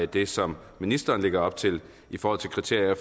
det som ministeren lægger op til i forhold til kriterier